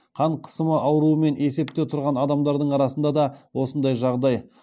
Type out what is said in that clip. қан қысымы ауруымен есепте тұрған адамардың арасында да осындай жағдай